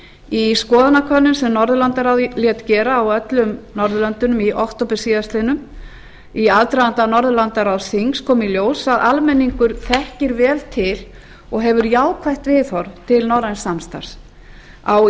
í skoðanakönnun sem norðurlandaráðið lét gera á öllum norðurlöndunum í október síðastliðinn í aðdraganda norðurlandaráðsþings kom í ljós að almenningur þekkir vel til og hefur jákvætt viðhorf til norræns samstarfs á